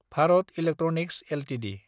Bharat electronics Ltd